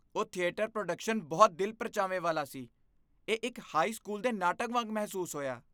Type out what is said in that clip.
ਉਹ theatre production ਬਹੁਤ ਦਿਲ ਪ੍ਰਚਾਵੇ ਵਾਲਾ ਸੀ, ਇਹ ਇੱਕ ਹਾਈ ਸਕੂਲ ਦੇ ਨਾਟਕ ਵਾਂਗ ਮਹਿਸੂਸ ਹੋਇਆ।